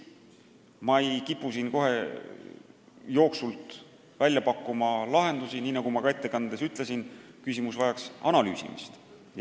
Ma ei kipu siin jooksult välja pakkuma lahendusi, nii nagu ma juba ettekandes ütlesin, aga küsimus vajaks analüüsimist.